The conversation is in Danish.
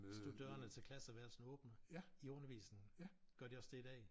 Stod dørene til klasseværelset åbne? I undervisningen? Gør de også det i dag?